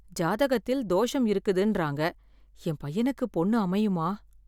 ஜாதகத்தில் தோஷம் இருக்குதுன்றாங்க, என் பையனுக்கு பொண்ணு அமையுமா?